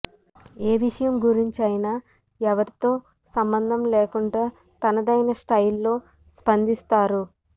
ఏ విషయం గురించైనా ఎవరితో సంబంధం లేకుండా తనదైన స్టయిల్లో స్పందిస్తారు